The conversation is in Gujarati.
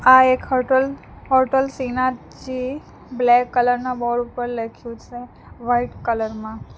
આ એક hotel hotel Shrinathji black colour ના બોર્ડ ઉપર લખ્યું છે વાઈટ કલર માં.